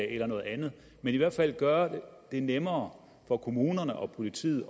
eller noget andet men i hvert fald gøre det nemmere for kommunerne og politiet